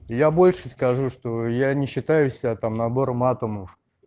я больше скажу что я не считаю себя там набором атомов